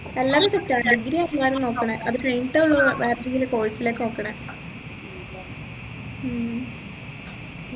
എല്ലാരും set ആണ് degree ആ എല്ലാരും നോക്കുന്നെ അത് കഴിഞ്ഞിട്ടേ ഉള്ളു വേറെ ഏതെങ്കിലും course ലോക്കെ നോക്കുന്നെ ഉം